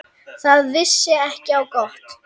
Það vissi ekki á gott.